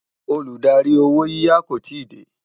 Olùdarí owó yiyá kò tí dé